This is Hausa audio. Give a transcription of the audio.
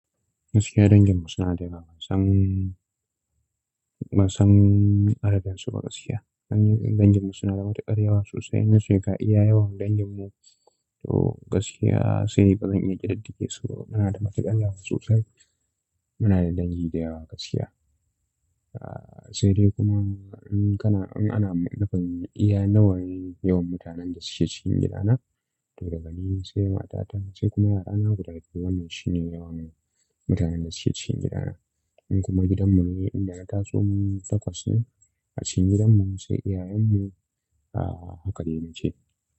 Gaskiya danginmu suna dayawa bansan, bansan adadin su ba gaskiya. Danginmu suna da matuƙar yawa sosai inna ce ga iya yawan danginmu. To gaskiya sai ba zan iya ƙididdige su ba. Muna da matuƙan yawa sosai. Muna da dangi da yawa gaskiya. Sai dai kuma in kana, in ana nufin iya nawane yawan mutanen da suke cikin gidana, to daga ni sai matata, sai kuma yara na guda biyu, wannan shine yawan mu, mutanen da suke cikin gidana. In kuma gidanmu ne inda ta somu mu takwas ne a cikin gidanmu sai iyayenmu, a haka dai na ce.